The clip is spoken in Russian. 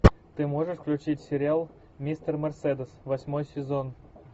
ты можешь включить сериал мистер мерседес восьмой сезон